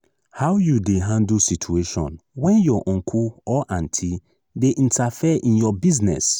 how you dey handle situation when your uncle or auntie dey interfere in your business?